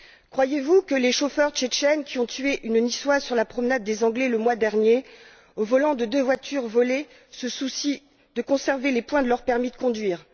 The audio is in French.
Croyez vous que les chauffeurs tchétchènes qui ont tué une Niçoise sur la promenade des Anglais le mois dernier, au volant de deux voitures volées, se soucient de conserver les points de leur permis de conduire